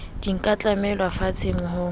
di ka tlamellwa fenseng ho